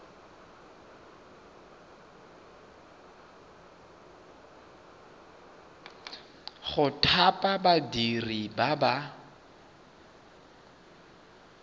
go thapa badiri ba ba